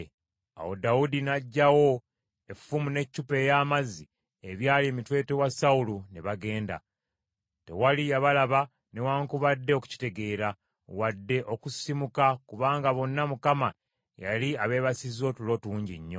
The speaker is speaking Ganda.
Awo Dawudi n’aggyawo effumu n’eccupa ey’amazzi ebyali emitwetwe wa Sawulo ne bagenda. Tewali yabalaba newaakubadde okukitegeera, wadde okusisimuka, kubanga bonna Mukama yali abeebasiza otulo tungi nnyo.